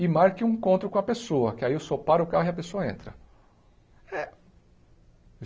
e marque um encontro com a pessoa, que aí o senhor para o carro e a pessoa entra.